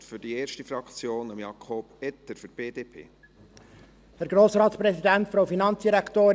Für die erste Fraktion gebe ich Jakob Etter das Wort für die BDP.